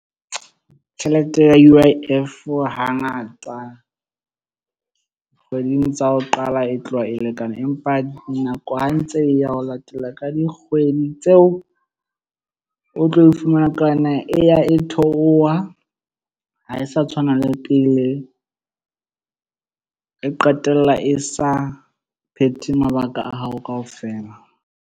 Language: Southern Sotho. Tjhelete ya U_I_F hangata kgweding tsa ho qala e tloha e lekane. Empa nako ha ntse ya ho latela ka dikgwedi tseo o tlo e fumana ka yona e ya e theoha ha e sa tshwana le pele, e qetella e sa phethe mabaka a hao kaofela.